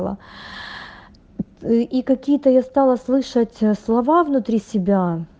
ла и какие-то я стала слышать слова внутри себя